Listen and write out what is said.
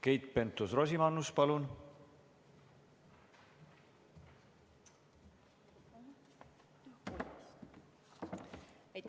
Keit Pentus-Rosimannus, palun!